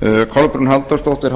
þingmaður kolbrún halldórsdóttir